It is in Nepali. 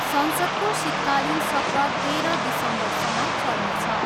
संसदको शीतकालिन सत्र तेह्र दिसम्बरसम्म चल्नेछ।